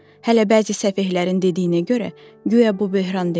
Hələ bəzi səfehlərin dediyinə görə, guya bu böhran deyil.